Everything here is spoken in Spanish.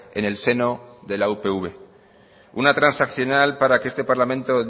en el seno de la upv una transaccional para que este parlamento